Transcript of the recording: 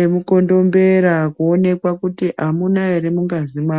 emukondombera kuonekwa kuti amuna ere mungazi mwavo.